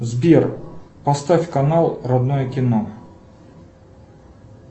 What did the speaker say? сбер поставь канал родное кино